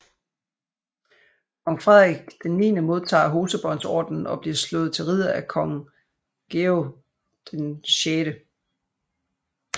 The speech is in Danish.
Kong Frederik IX modtager Hosebåndsordenen og bliver slået til ridder af Kong Georg VI